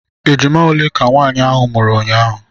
Ejima ole ka nwaanyị ahụ mụrụ unyaahụ?